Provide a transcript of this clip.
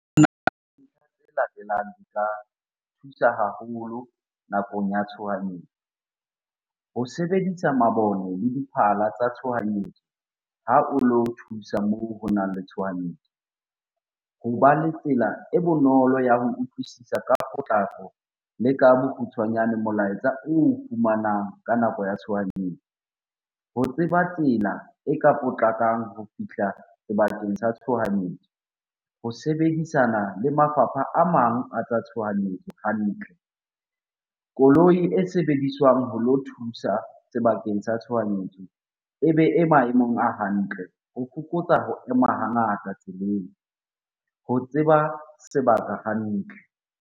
Di ka thusa haholo nakong ya tshohanyetso. Ho sebedisa mabone le diphala tsa tshohanyetso ha o lo thusa moo ho nang le tshohanyetso. Hoba le tsela e bonolo ya ho utlwisisa ka potlako le ka bokgutshwanyane molaetsa oo fumanang ka nako ya tshohanyetso. Ho tseba tsela e ka potlakang ho fihla sebakeng sa tshohanyetso. Ho sebedisana le mafapha a mang a tsa tshohanyetso hantle. Koloi e sebediswang ho lo thusa sebakeng sa tshohanyetso ebe e maemong a hantle ho fokotsa ho ema ha ngata tseleng. Ho tseba sebaka hantle.